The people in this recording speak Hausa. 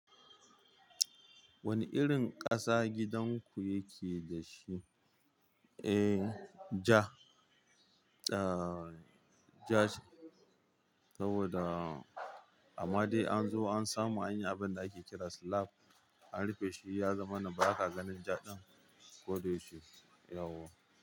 Wani irin ƙasa gidanku yake da shi? Eh, ja. Ja ce saboda amma dai an zo an samu anyi abinda ake kira slab Anrufeshi yazamana ba ka ganin ja ɗin ko da yake.